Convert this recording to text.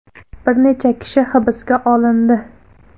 Bir nechta kishi hibsga olindi.